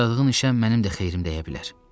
Başladığın işə mənim də xeyrim dəyə bilər.